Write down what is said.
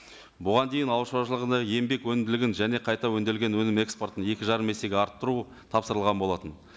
бұған дейін ауыл шаруашылығында еңбек өнімділігін және қайта өңделген өнім экспортын екі жарым есеге арттыру тапсырылған болатын